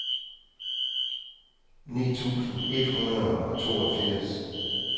ni tusind et hundrede og toogfirs